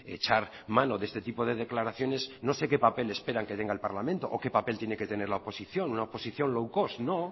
echar mano de este tipo de declaraciones no sé qué papel esperan que tenga el parlamento o qué papel tiene que tener la oposición una oposición low cost no